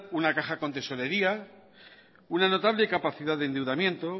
una caja con tesorería una notable capacidad de endeudamiento